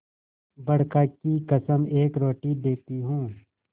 बड़का की कसम एक रोटी देती हूँ